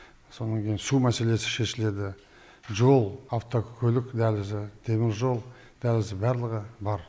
сонан кейін су мәселесі шешіледі жол автокөлік дәлізі теміржол дәлізі барлығы бар